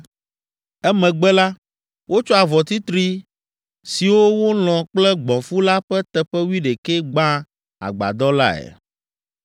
Emegbe la, wotsɔ avɔ titri siwo wolɔ̃ kple gbɔ̃fu la ƒe teƒe wuiɖekɛ gbã agbadɔ lae.